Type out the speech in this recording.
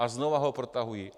A znova ho protahují.